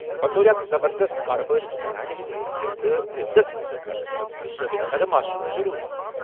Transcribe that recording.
بطور أکِس زَبردَست کارٕبٲرۍ زنانہِ ہِنٛدِ حیثِیتہٕ عزت حٲصِل کرنہٕ خٲطرٕ چُھ ثٲبِت قدم آسُن ضٔروٗری ۔